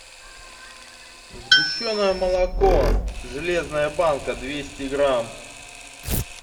сгущенное молоко железная банка двести грамм